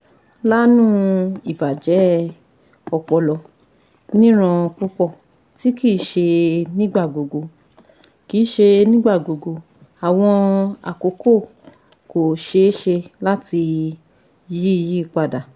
Laanu ibajẹ ọpọlọ nira pupọ ti kii ṣe nigbagbogbo kii ṣe nigbagbogbo awọn akoko ko ṣee ṣe lati yiyipada